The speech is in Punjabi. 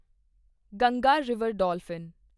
Ganga river dolphin